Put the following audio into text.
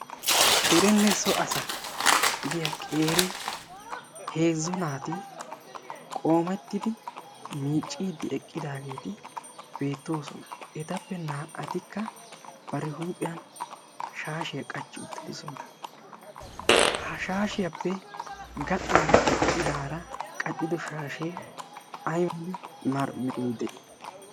derenne so asa gidiyaa qeeri heezzo naati qoomettidi miicciiddi eqqidaageeti beettoosona. etappe naa"atikka bari huuphiyan shaashiyaa qachchi uttidisona. ha shaashiyaappe gaxan eqqidaara qaccido shaashee ay unne mala merayi de'ii?